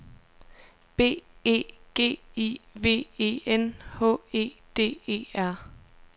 B E G I V E N H E D E R